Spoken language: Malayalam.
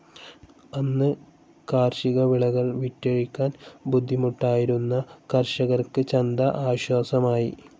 അന്ന് കാർഷിക വിളകൾ വിറ്റഴിക്കാൻ ബുദ്ധിമുട്ടായിരുന്ന കർഷകർക്ക് ചന്ത ആശ്വാസമായി.